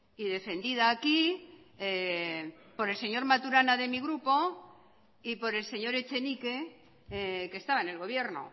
y defendida aquí por el señor maturana de mi grupo y por el señor etxenike que estaba en el gobierno